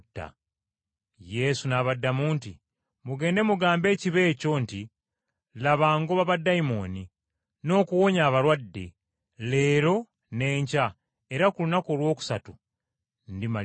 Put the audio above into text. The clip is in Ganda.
Yesu n’abaddamu nti, “Mugende mugambe ekibe ekyo nti laba ngoba baddayimooni, n’okuwonya abalwadde, leero, n’enkya, era ku lunaku olwokusatu ndimaliriza.